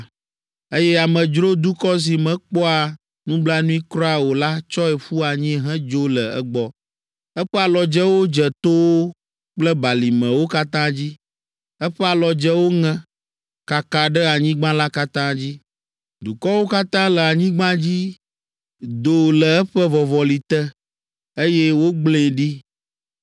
eye amedzro dukɔ si mekpɔa nublanui kura o la tsɔe ƒu anyi hedzo le egbɔ. Eƒe alɔdzewo dze towo kple balimewo katã dzi; eƒe alɔdzewo ŋe, kaka ɖe anyigba la katã dzi. Dukɔwo katã le anyigba dzi do le eƒe vɔvɔli te, eye wogblẽe ɖi.